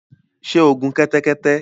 Sé o gun kẹ́tẹ́kẹ́tẹ́